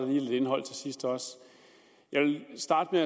lige lidt indhold til sidst jeg vil starte med